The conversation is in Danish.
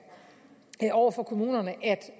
over for kommunerne